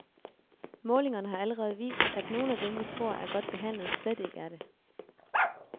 Målingerne har allerede vist, at nogle af dem, vi tror, er godt behandlet, slet ikke er det.